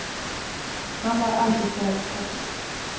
Han var alltid snäll mot henne.